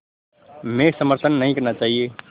में समर्थन नहीं करना चाहिए